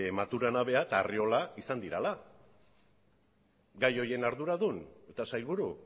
maturana bera eta arriola izan direla gai horiek arduradun eta sailburu